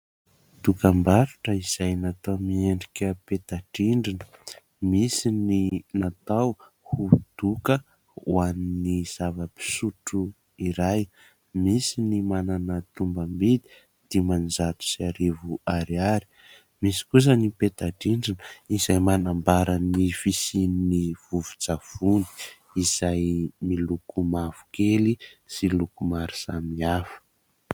Dokam-barotra izay natao miendrika peta-drindrina, misy ny natao ho doka ho an'ny zava-pisotro iray, misy ny manana tombam-bidy dimanjato sy arivo ariary, misy kosa ny peta-drindrina izay manambara ny fisian'ny vovon-tsavony izay miloko mavokely sy loko maro samihafa.